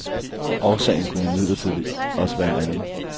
Årsagen kunne imidlertid også være en anden.